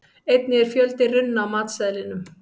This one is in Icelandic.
Einnig er fjöldi runna á matseðlinum.